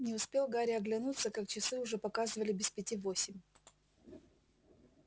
не успел гарри оглянуться как часы уже показывали без пяти восемь